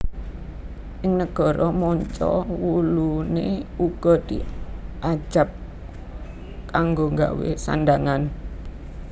Ing negara manca wuluné uga diajab kanggo gawé sandhangan